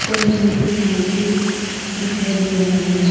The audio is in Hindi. पिक्चर मे एक मूर्ति दिखाई दे रहा है।